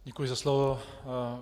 Děkuji za slovo.